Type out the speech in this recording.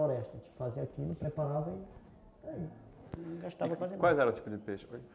A gente fazia aquilo, preparava e gastava quase... Qual era o tipo de peixe?